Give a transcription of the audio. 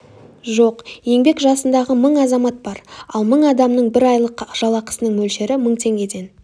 жоқ еңбек жасындағы мың азамат бар ал мың адамның бір айлық жалақысының мөлшері мың теңгеден